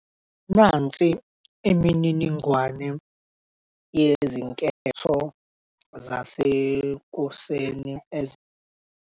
Nansi imininingwane yezinketho zasekuseni .